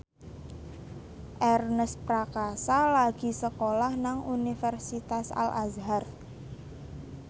Ernest Prakasa lagi sekolah nang Universitas Al Azhar